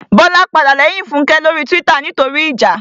Bọ́lá padà lẹ́yìn Fúnkẹ́ lórí túwítà nítorí ìjà